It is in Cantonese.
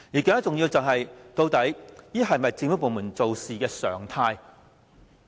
更重要的是，究竟這是否政府部門的處事常態？